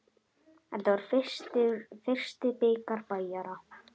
Þetta var fyrsti bikar Bæjara.